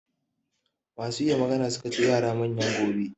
Masu iya magana su ka ce yara manyan gobe.